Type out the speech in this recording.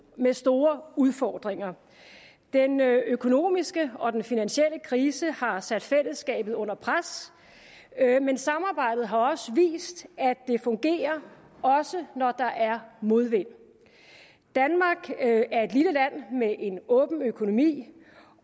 med store udfordringer den økonomiske og den finansielle krise har sat fællesskabet under pres men samarbejdet har vist at det fungerer også når der er modvind danmark er et lille land med en åben økonomi